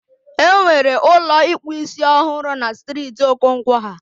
Enwere Ụlọ ịkpụ isiọhụrụ na striiti Okonkwo ha